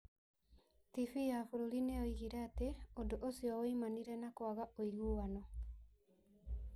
TV ya bũrũri nĩ yoigire atĩ ũndũ ũcio woimanire na kwaga ũiguano.